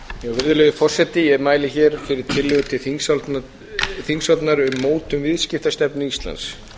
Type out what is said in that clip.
virðulegi forseti ég mæli hér fyrir tillögu til þingsályktunar um mótun viðskiptastefnu íslands